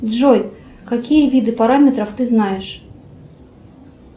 джой какие виды параметров ты знаешь